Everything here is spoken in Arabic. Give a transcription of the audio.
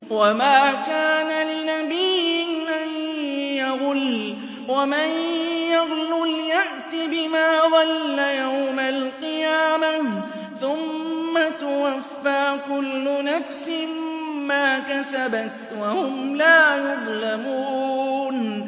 وَمَا كَانَ لِنَبِيٍّ أَن يَغُلَّ ۚ وَمَن يَغْلُلْ يَأْتِ بِمَا غَلَّ يَوْمَ الْقِيَامَةِ ۚ ثُمَّ تُوَفَّىٰ كُلُّ نَفْسٍ مَّا كَسَبَتْ وَهُمْ لَا يُظْلَمُونَ